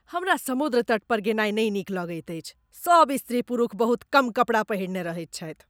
हमरा समुद्र तट पर गेनाय नीक नहि लगैत अछि। सब स्त्री पुरुख बहुत कम कपड़ा पहिरने रहैत छथि।